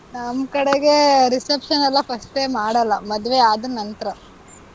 ನಮ್ ಕಡೆಗೆ, reception ಎಲ್ಲಾ first ಎ ಮಾಡಲ್ಲ. ಮದ್ವೆ ಆದ ನಂತ್ರ.